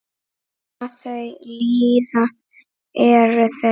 Hvað þau líða eru þau?